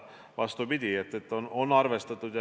Vastupidi, on arvestatud.